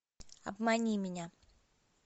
обмани меня